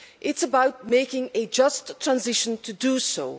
it is about making a just transition to do so.